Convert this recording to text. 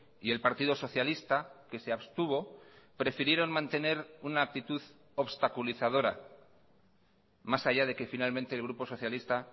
y el partido socialista que se abstuvo prefirieron mantener una actitud obstaculizadora más allá de que finalmente el grupo socialista